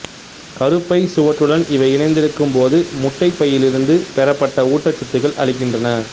கருப்பை சுவற்றுடன் இவை இணைந்திருக்கும்போது முட்டைப் பையிலிருந்து பெறப்பட்ட ஊட்டச்சத்துகளை அளிக்கின்றன